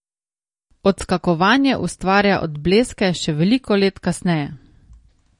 Odskakovanje ustvarja odbleske še veliko let kasneje.